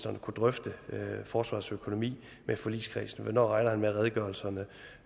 at kunne drøfte forsvarets økonomi med forligskredsen hvornår regner han med at redegørelserne